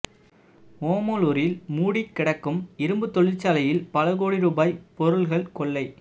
ஓமலூரில் மூடிக்கிடக்கும் இரும்புத் தொழிற்சாலையில் பல கோடி ரூபாய் பொருள்கள் கொள்ளை